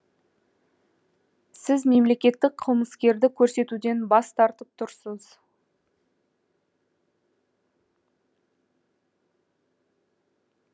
сіз мемлекеттік қылмыскерді көрсетуден бас тартып тұрсыз